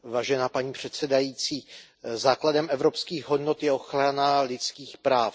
Paní předsedající, základem evropských hodnot je ochrana lidských práv.